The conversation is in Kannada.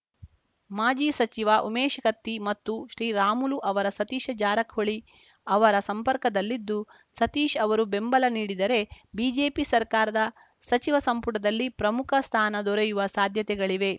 ಮಾಜಿ ಸಚಿವ ಉಮೇಶ ಕತ್ತಿ ಮತ್ತು ಶ್ರೀರಾಮುಲು ಅವರು ಸತೀಶ ಜಾರಕಿಹೊಳಿ ಅವರ ಸಂಪರ್ಕದಲ್ಲಿದ್ದು ಸತೀಶ್‌ ಅವರು ಬೆಂಬಲ ನೀಡಿದರೆ ಬಿಜೆಪಿ ಸರ್ಕಾರದ ಸಚಿವ ಸಂಪುಟದಲ್ಲಿ ಪ್ರಮುಖ ಸ್ಥಾನ ದೊರೆಯುವ ಸಾಧ್ಯತೆಗಳಿವೆ